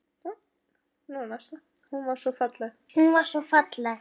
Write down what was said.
Hún var svo falleg.